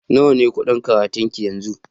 Nawa ne kuɗin karatun ki yanzu?